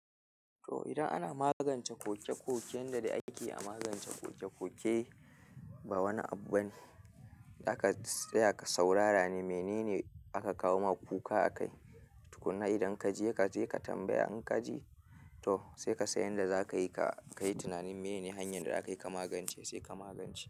To idan ana magance koke-koken da ake magance kokekoke ba wani abu bane. Da aka tsaya ka saurara mene ne aka kawo maka kuka a kai. Tukkuna idan ka je ka tambaya, in ka ji to sai ka san yadda za ka yi. Ka yi tunanin mene ne hanyar da za ka yi ka magance, sai ka magance shi.